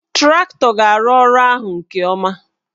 Traktọ ga-arụ ọrụ ahụ nke ọma